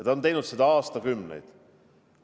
Ta on teinud seda aastakümneid.